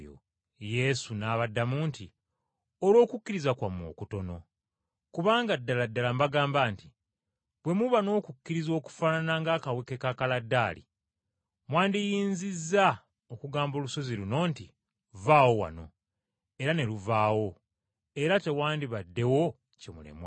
Yesu n’abaddamu nti, “Olw’okukkiriza kwammwe okutono. Kubanga ddala ddala mbagamba nti, bwe muba n’okukkiriza okufaanana ng’akaweke ka kaladaali, mwandiyinzizza okugamba olusozi luno nti, ‘Vvaawo wano,’ era ne luvaawo era tewandibaddewo kye mulemwa.